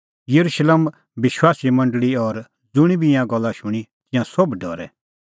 येरुशलेम विश्वासीए मंडल़ी दी और ज़ुंणी बी ईंयां गल्ला शूणीं तिंयां सोभ डरै